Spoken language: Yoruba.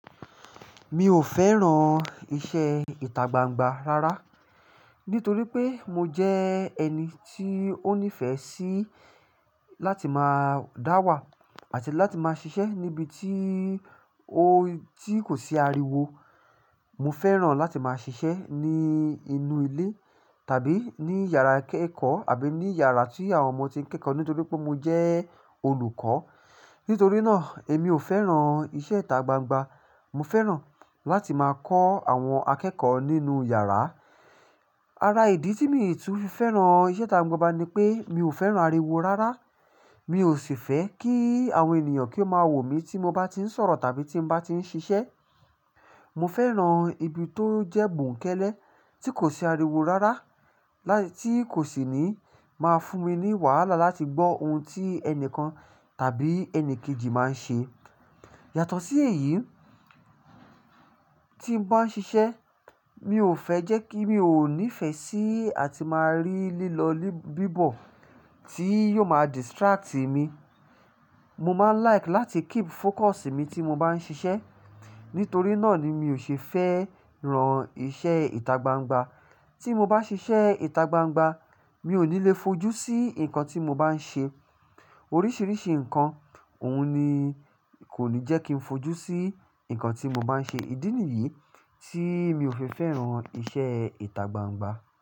Mi ò fẹ́ran iṣẹ́ ìtagbangba rárá, nítorí pé mo jẹ́ ẹni tí ó nífẹ̀ẹ́ sí láti máa dáwà àti láti máa ṣiṣẹ́ níbi tí ó, tí kò sí ariwo. Mo fẹ́ran láti máa ṣiṣẹ́ ní inú ilé tàbí ní yàrá ìkẹ́kọ̀ọ́ àbí ní yàrá tí àwọn ọmọ ti ń kẹ́kọ̀ọ́ nítorí pé mo jẹ́ olùkọ́. Nítorí náà, èmi ò fẹ́ran iṣẹ́ ìtagbangba. Mo fẹ́ran láti máa kọ́ àwọn akẹ́kọ̀ọ́ nínú yàrá. Ara ìdí tí mi ò tún fi fẹ́ràn an iṣẹ́ ìtagbangba ni pé mi ò fẹ́ran ariwo rárá. Mi ò sì fẹ́ kí àwọn ènìyàn kí ó máa wò mí tí mo bá tí ń sọ̀rọ̀ tàbí tí ń bá tí ń ṣiṣẹ́. Mo fẹ́ran ibi tó jẹ́ bòúnkẹ́lé, tí kò sí ariwo rárá, lá tí kò sì ní máa fún mi ní wàhálà láti gbọ́ ohun tí ẹnìkan tàbí ẹni kejì máa ń ṣe. Yàtọ̀ sí èyí, tí ń bá ń ṣiṣẹ́, mi ò fẹ́ jẹ́ kí, mi ò nífẹ̀ẹ́ sí àti máa rí lílọ bíbọ̀ tí yó máa distract mi. Mo máa ń like láti keep focus mi tí mo bá ń ṣiṣẹ́. Nítorí náà ni mi ò ṣe fẹ́ ran iṣẹ́ ìtagbangba. Tí mo bá ṣiṣẹ́ ìtagbangba, mi ò ní le fojú sí nǹkan tí mo bá ń ṣe. Oríṣiríṣi nǹkan, òun ni kò ní jẹ́ kí n fojú sí nǹkan tí mo bá ń ṣe. Ìdí nìyí tí mi ò fi fẹ́ran iṣẹ́ ìtagbangba.